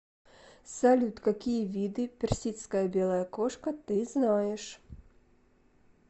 салют какие виды персидская белая кошка ты знаешь